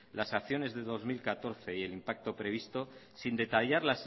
las acciones de dos mil catorce y el impacto previsto sin detallar